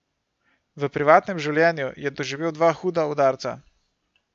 V privatnem življenju je doživel dva huda udarca.